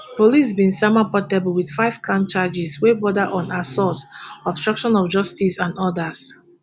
police bin sama portable wit five counts charges wey border on assault obstruction of justice and odas